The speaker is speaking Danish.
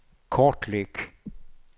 kortlæg